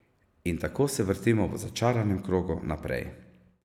In tako se vrtimo v začaranem krogu naprej.